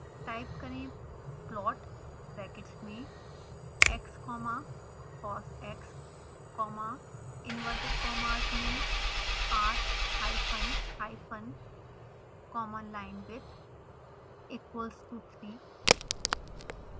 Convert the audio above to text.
type करें plot brackets में x comma cosx comma inverted commas में r hyphen hyphen comma linewidth equals to 3